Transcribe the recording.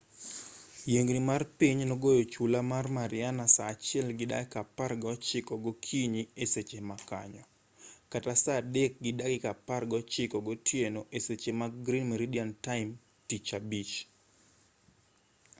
yiengni mar piny nogoyo chula mar mariana saa achiel gi dakika apar gaochiko gokinyi eseche makanyo saa adek gi dakika apagaochiko gotieno eseche mag gmt tich abich